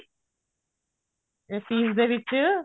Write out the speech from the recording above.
ਇਸ ਚੀਜ਼ ਦੇ ਵਿੱਚ